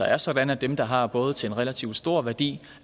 er sådan at dem der har både til en relativt stor værdi